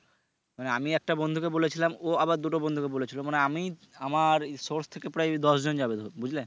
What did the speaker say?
মানে আমি একটা বন্ধুকে বলেছিলাম ও আবার দুটো বন্ধুকে বলেছিলো মানে আমি আমার source থেকে প্রায় দশজন যাবে বুঝলে